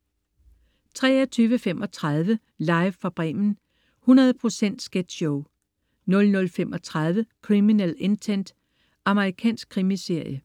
23.35 Live fra Bremen. 100 procent sketchshow 00.35 Criminal Intent. Amerikansk krimiserie